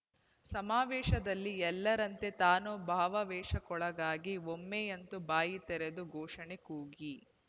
ಸಮಾವೇಶದಲ್ಲಿ ಎಲ್ಲರಂತೆ ತಾನೂ ಭಾವಾವೇಶಕ್ಕೊಳಗಾಗಿ ಒಮ್ಮೆಯಂತೂ ಬಾಯಿ ತೆರೆದು ಘೋಷಣೆ ಕೂಗಿ